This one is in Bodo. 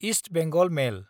east Bengal mail